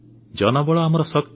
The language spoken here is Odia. ଜନବଳ ଆମର ଶକ୍ତି